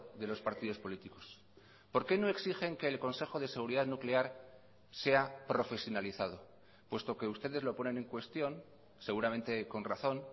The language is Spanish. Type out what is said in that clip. de los partidos políticos por qué no exigen que el consejo de seguridad nuclear sea profesionalizado puesto que ustedes lo ponen en cuestión seguramente con razón